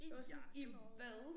I jakkelommen